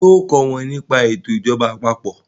ṣe o kò wón ní pa eto ìjọba àpapọ̀?